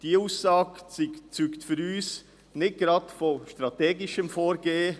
Diese Aussage zeugt für uns nicht gerade von strategischem Vorgehen.